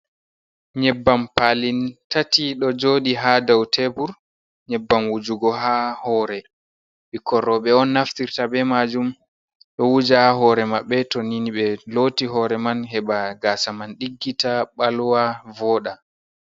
Nyebbam pali tati ɗo joodi ha daw tebur. Nyebbam wujugo ha hore. Bikkoi robe on naftirta be majum. ɗo wuja ha hore mabbe to nini be loti hore man. Heba gasa man diggita balwa vooɗa.